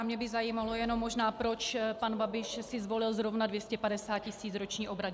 A mě by zajímalo jenom možná, proč pan Babiš si zvolil zrovna 250 tis. roční obrat.